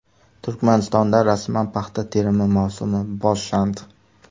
Turkmanistonda rasman paxta terimi mavsumi boshlandi.